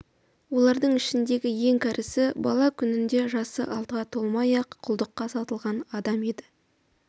олардың ішіндегі ең кәрісі бала күнінде жасы алтыға толмай-ақ құлдыққа сатылған адам еді